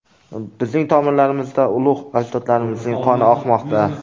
Bizning tomirlarimizda ulug‘ ajdodlarimizning qoni oqmoqda.